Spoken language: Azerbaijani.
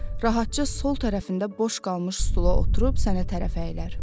rahatca sol tərəfində boş qalmış stula oturub sənə tərəf əyilir.